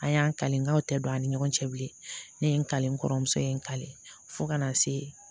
An y'an kaw tɛ don an ni ɲɔgɔn cɛ bilen ne ye n ka n kɔrɔmuso ye n ka fo ka na se